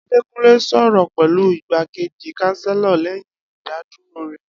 Adekunle sọrọ pẹlu Igbakeji Chancellor lẹyin idaduro rẹ